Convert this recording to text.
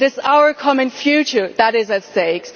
It is our common future that is at stake.